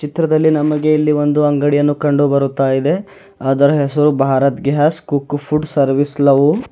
ಚಿತ್ರದಲ್ಲಿ ನಮಗೆ ಇಲ್ಲಿ ಒಂದು ಅಂಗಡಿಯನ್ನು ಕಂಡುಬರುತ್ತಾಯಿದೆ ಅದರ ಹೆಸರು Bharat gas cook food service love .